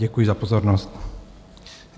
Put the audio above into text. Děkuji za pozornost.